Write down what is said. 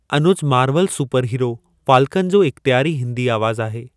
Anuj Marvel superhero Falcon जो इख़्तयारी हिंदी आवाज़ आहे।